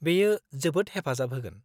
-बेयो जोबोद हेफाजाब होगोन।